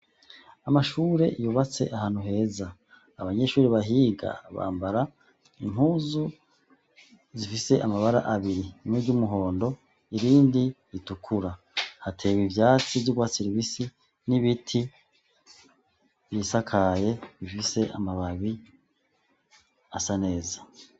Amashure yubatse ahantu heza. Abanyeshure bahiga bambara impuzu zifise amabara abiri, rimwe ry'umuhondo irindi ritukura hateye ivyatsi vyurwatsi rubisi n'ibiti bisakaye bifise amababi asa neza.